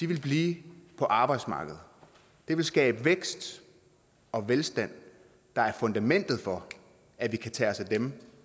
vil blive på arbejdsmarkedet det vil skabe vækst og velstand der er fundamentet for at vi kan tage os af dem